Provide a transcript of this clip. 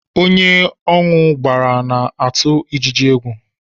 Ónyé aṅụ gbàrà na-atụ ijiji égwu